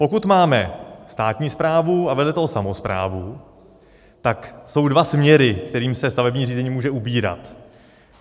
Pokud máme státní správu a vedle toho samosprávu, tak jsou dva směry, kterými se stavební řízení může ubírat.